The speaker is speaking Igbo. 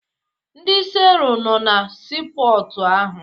Ndị seelọ nọ na siipọọtụ ahụ